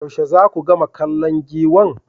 Yaushe ne zaku gama kallon Giwan?